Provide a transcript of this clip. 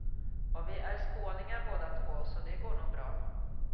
Och vi är skåningar båda två, så det går nog bra.